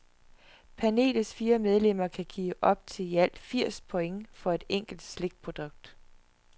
Panelets fire medlemmer kan give op til i alt firs point for et enkelt slikprodukt.